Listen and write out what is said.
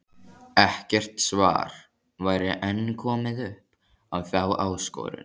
Ekkert svar væri enn komið upp á þá áskorun.